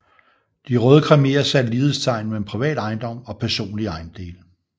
De røde khmerer satte lighedstegn mellem privat ejendom og personlige ejendele